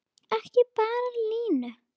Ekki bara Lúnu.